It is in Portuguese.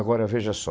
Agora, veja só.